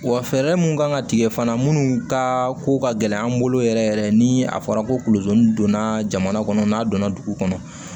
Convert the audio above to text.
Wa fɛɛrɛ mun kan ka tigɛ fana munnu ka ko ka gɛlɛn an bolo yɛrɛ yɛrɛ ni a fɔra ko kulu donna jamana kɔnɔ n'a donna dugu kɔnɔ